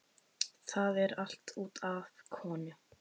Það er allt út af konu.